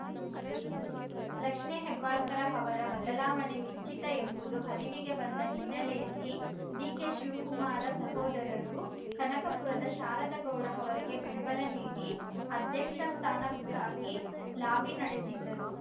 ಲಕ್ಷ್ಮೇ ಹೆಬ್ಬಾಳ್ಕರ್‌ ಅವರ ಬದಲಾವಣೆ ನಿಶ್ಚಿತ ಎಂಬುದು ಅರಿವಿಗೆ ಬಂದ ಹಿನ್ನೆಲೆಯಲ್ಲಿ ಡಿಕೆಶಿವಕುಮಾರ ಸಹೋದರರು ಕನಕಪುರದ ಶಾರದಾ ಗೌಡ ಅವರಿಗೆ ಬೆಂಬಲ ನೀಡಿ ಅಧ್ಯಕ್ಷ ಸ್ಥಾನಕ್ಕಾಗಿ ಲಾಬಿ ನಡೆಸಿದ್ದರು